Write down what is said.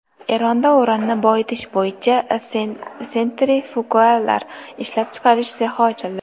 Eronda uranni boyitish bo‘yicha sentrifugalar ishlab chiqarish sexi ochildi.